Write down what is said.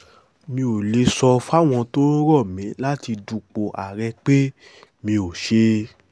mi ò lè sọ fáwọn tó ń rọ̀ mí láti dupò àárẹ̀ pé mi ò ṣe